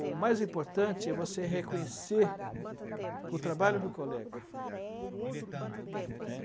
O mais importante é você reconhecer o trabalho do colega.